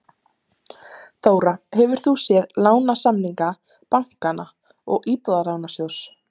Þóra: Hefur þú séð lánasamninga bankanna og Íbúðalánasjóðs?